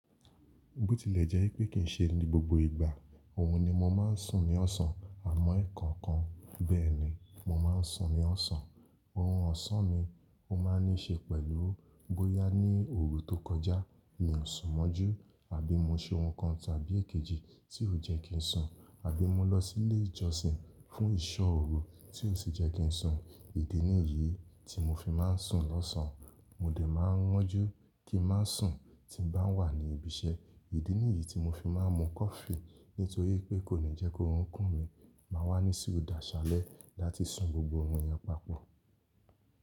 Bó tilẹ̀ jẹ́ pé kì ń ṣe ní gbogbo ìgbà, òhun ni mo máa ń sùn ní ọ̀sán. Àmọ́, ẹ̀ẹ̀kan kan bẹ́ẹ̀ ni mo máa ń sùn ní ọ̀sán. Òhun ọ̀sán mi, ó máa ń ní ṣe pẹ̀lú bóyá ní òru tó kọjá mi ò sùn mọ́jú àbí mo se ohun kan tàbí èkejì tí ó jẹ́ kí n sùn. Àbí mo lọ sílé ìjọsìn fún ìsọ òru tí ó sì jẹ́ kí n sùn. Ìdí nìyí tí mo fi máa ń sùn lọ́sàn. Mo dè máa ń wọ́n jú kí n má sùn tí n bá wà ní ibi iṣẹ́. Ìdí nìyí tí mo fi máa ń mu Kọfi nítorí pé kò ní jẹ́ kó orun kùn mí máa wà ní sí òdá salẹ́ láti sùn gbogbo ohun yẹn papọ.